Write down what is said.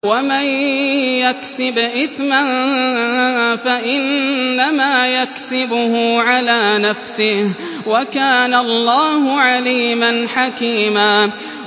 وَمَن يَكْسِبْ إِثْمًا فَإِنَّمَا يَكْسِبُهُ عَلَىٰ نَفْسِهِ ۚ وَكَانَ اللَّهُ عَلِيمًا حَكِيمًا